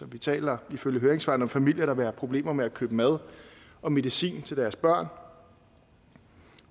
vi taler ifølge høringssvarene om familier der vil have problemer med at købe mad og medicin til deres børn